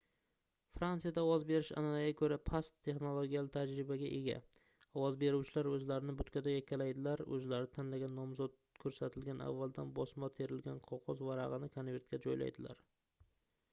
frantsiyada ovoz berish anʼanaga koʻra past texnologiyali tajribaga ega ovoz beruvchilar oʻzlarini butkada yakkalaydilar oʻzlari tanlagan nomzod koʻrsatilgan avvaldan bosma terilgan qogʻoz varagʻini konvertga joylaydilar